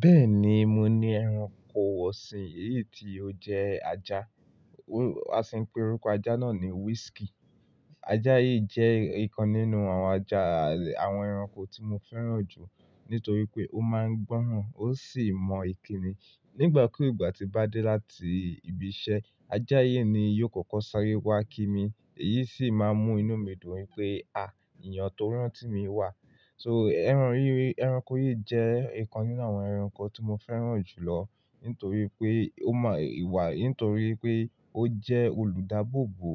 Bẹ́ẹ̀ni, mo ní ẹranko ọ̀sìn, èyí tí ó jẹ́ ajá. A sì ń pe orúkọ ajá náà ní whiskey. Ajá yìí jẹ́ ikan nínú àwọn ajá àwọn ẹranko tí mo fẹ́ràn jù nítorí pé ó máa ń gbọ́ràn, ó sì mọ ìkínni. Nígbà kúgbà tí bá dé láti ibi iṣẹ́, ajá yìí ni yóò kọ́kọ́ sáré wá kí mi. Èyí sì máa ń mú inú mi dùn wípé, à, èèyàn tó rántí mi wà. So ẹranko yìí jẹ́ ìkan nínú àwọn ẹranko tí mo fẹ́ràn jù lọ nítorí pé ó mọ ìwà, nítorí pé ó jẹ́ olùdáàbòbò,